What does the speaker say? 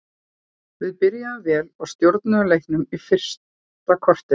Við byrjuðum vel og stjórnuðum leiknum fyrsta korterið.